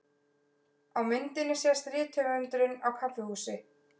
Á myndinni sést rithöfundurinn á kaffihúsi.